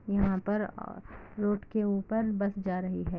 यहां पर रोड के ऊपर बस जा रही है |